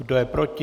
Kdo je proti?